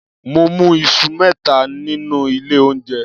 Mo mú iṣu mẹ́ta nínú ilé oúnjẹ.